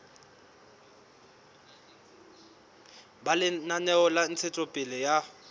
ba lenaneo la ntshetsopele ya